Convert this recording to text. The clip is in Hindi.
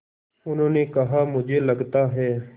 उन्होंने कहा मुझे लगता है